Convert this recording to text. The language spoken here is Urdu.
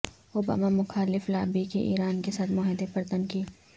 اوباما مخالف لابی کی ایران کے ساتھ معاہدے پر تنقید